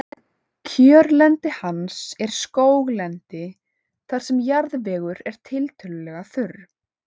Kjörlendi hans er skóglendi þar sem jarðvegur er tiltölulega þurr.